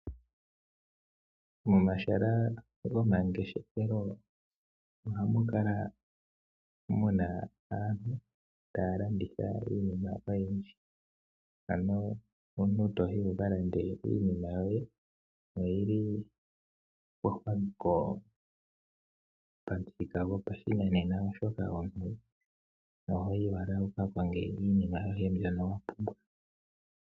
Momahala gomangeshefelo ohamu kala muna aantu taya landitha iinima oyindji ,Ano omuntu toyi wukalande iinima yoye oyili pamuthika gwopashinanena oshoka ohoyi owala wuka konge iinima yoye mbyono.